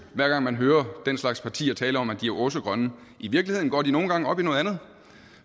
hver gang man hører den slags partier tale om at de er åh så grønne i virkeligheden går de nogle gange op i noget andet